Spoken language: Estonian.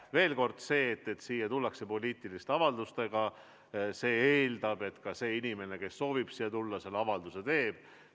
Veel kord: see, et siia tullakse poliitiliste avaldustega, eeldab, et see inimene, kes soovib siia tulla, selle avalduse teeb.